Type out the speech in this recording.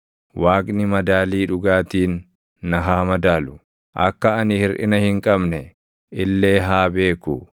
Waaqni madaalii dhugaatiin na haa madaalu; akka ani hirʼina hin qabne illee haa beeku;